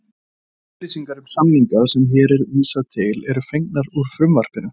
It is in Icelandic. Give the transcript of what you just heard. Allar upplýsingar um samningana sem hér er vísað til eru fengnar úr frumvarpinu.